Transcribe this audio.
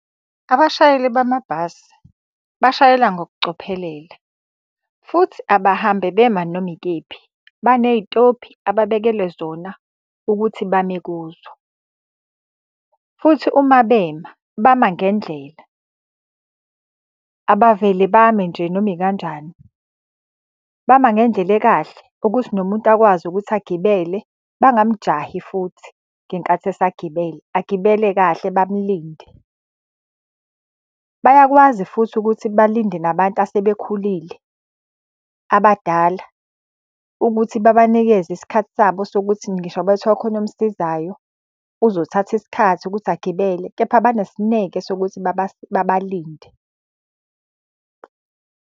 Abashayeli bamabhasi bashayela ngokucophelela futhi abahambe bema noma ikephi, baney'tobhi ababekelwe zona ukuthi bame kuzo. Futhi uma bema, bama ngendlela, abavele bame nje noma ikanjani. Bama ngendlela ekahle ukuthi nomuntu akwazi ukuthi agibele bangamujahi futhi ngenkathi esagibela, agibele kahle bamulinde. Bayakwazi futhi ukuthi balinde nabantu asebekhulile abadala ukuthi babanikeze isikhathi sabo sokuthi ngisho ngabe kuthiwa khona omsizayo, uzothatha isikhathi ukuthi agibele, kepha banesineke sokuthi babalinde.